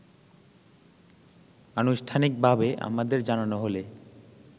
আনুষ্ঠানিকভাবে আমাদের জানানো হলে